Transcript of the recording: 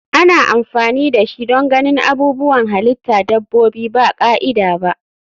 Ana amfani dashi don ganin abubuwan halitta dabbobi ba ka'ida ba.